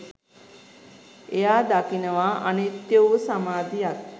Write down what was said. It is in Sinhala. එයා දකිනවා අනිත්‍ය වූ සමාධියක්